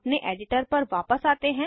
अपने एडिटर पर वापस आते हैं